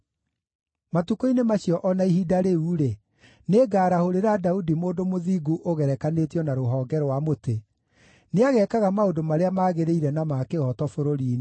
“ ‘Matukũ-inĩ macio o na ihinda rĩu-rĩ, nĩngarahũrĩra Daudi mũndũ mũthingu ũgerekanĩtio na rũhonge rwa mũtĩ; nĩageekaga maũndũ marĩa magĩrĩire na ma kĩhooto bũrũri-inĩ.